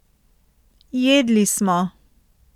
Jedli smo.